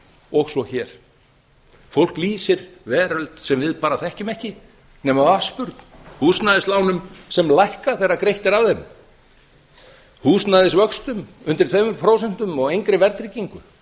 og svo hér fólk lýsir veröld sem við bara þekkjum ekki nema af afspurn húsnæðislánum sem lækka þegar greitt er af þeim húsnæðisvöxtum undir tveimur prósentum og engri verðtryggingu